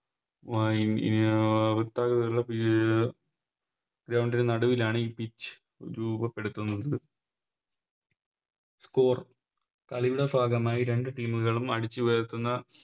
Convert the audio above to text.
ആ അഹ് വൃത്താകൃതിയിലുള്ള അഹ് Ground ന് നടുവിലാണ് എ Pitch രൂപപ്പെടുത്തുന്നത് Score കളിയുടെ ഭാഗമായി രണ്ട് Team ഉകളും അടിച്ചുയർത്തുന്ന